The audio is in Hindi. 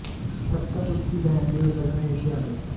तब तक उसकी बहन भी उतरकर नीचे आ गई